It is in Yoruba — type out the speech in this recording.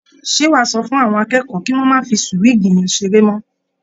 Ṣé wàá sọ fún àwọn akẹ́kọ̀ọ́ kí wọ́n má fí súwíìgì yẹn ṣeré mọ́?